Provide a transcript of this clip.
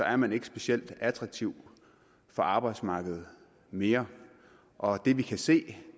er man ikke specielt attraktiv for arbejdsmarkedet mere og det vi kan se